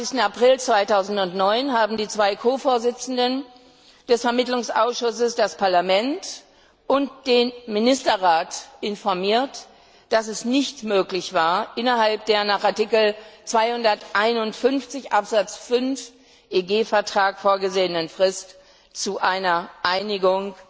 29. April 2009 haben die zwei Ko Vorsitzenden des Vermittlungsausschusses das Parlament und den Ministerrat informiert, dass es nicht möglich war, innerhalb der nach Artikel 251 Absatz 5 EG Vertrag vorgesehenen Frist zu einer Einigung